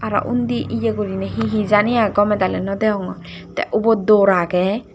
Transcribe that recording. aro undi ye goriney he he jani aai gomey dali no degongor te ubot door agey.